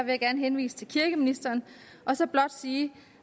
jeg gerne henvise til kirkeministeren og så blot sige